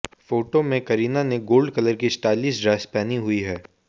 photo में करीना ने gold colour की स्टाइलिश ड्रेस पहनी हुई है